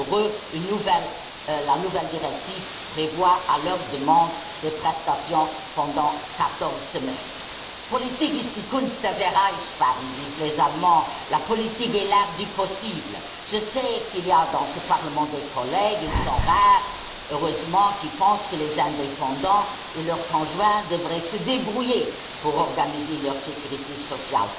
Pour eux, la nouvelle directive prévoit, à leur demande, des prestations pendant quatorze semaines. Politik ist die Kunst des Erreichbaren disent les Allemands, la politique est l'art du possible. Je sais qu'il y a dans ce Parlement des collègues ils sont rares heureusement qui pensent que les indépendants et leurs conjoints devraient se débrouiller pour organiser leur sécurité sociale.